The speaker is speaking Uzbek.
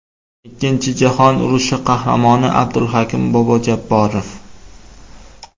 Ikkinchi jahon urushi qahramoni Abdulhakim bobo Jabborov.